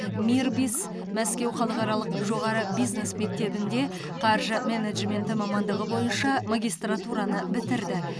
мирбис мәскеу халықаралық жоғары бизнес мектебінде қаржы менеджменті мамандығы бойынша магистратураны бітірді